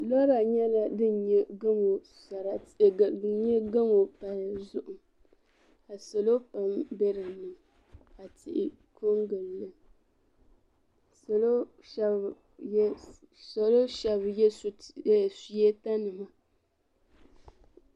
Pɔra nyala din nyɛ gamu palli zuɣu ka salɔ pam be dini ka tihi koŋ gilli ka salɔ shab ye suweta nima.